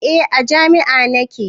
Eh a jami'ah nake